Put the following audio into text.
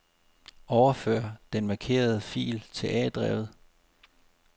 Overfør den markerede fil til A-drevet.